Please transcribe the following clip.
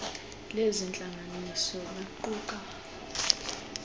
lezi ntlanganiso baquka